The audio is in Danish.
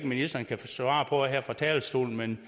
ministeren kan svare på det her fra talerstolen men